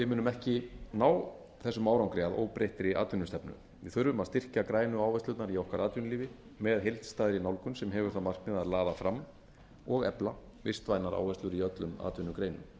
munum ekki ná þessum árangri að óbreyttri atvinnustefnu við þurfum að styrkja gætu áherslurnar í okkar atvinnulífi með heildstæðri nálgun sem hefur það markmið að laða fram og efla vistvænar áherslur í öllum atvinnugreinum